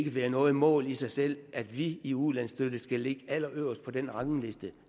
være noget mål i sig selv at vi i ulandsstøtte skal ligge allerøverst på den rangliste